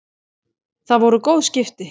Það voru góð skipti.